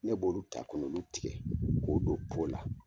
Ne b'olu ta kɔ nɔ ulu tigɛ k'o don la.